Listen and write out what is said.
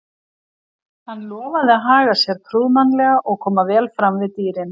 Hann lofaði að haga sér prúðmannlega og koma vel fram við dýrin.